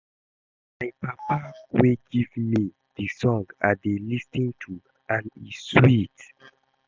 Na my papa wey give me the song I dey lis ten to and e sweet